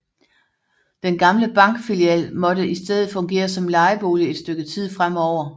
Den gamle bankfilial måtte i stedet fungere som lejebolig et stykke tid fremover